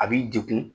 A b'i degun